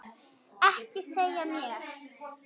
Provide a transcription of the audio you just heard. Ekki segja mér,